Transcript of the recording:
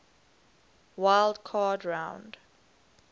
wild card round